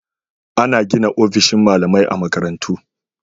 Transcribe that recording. Ana gina ofisoshin malamai a makarantun.